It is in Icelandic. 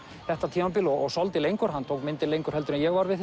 þetta tímabil og svolítið lengur hann tók myndir lengur en ég var við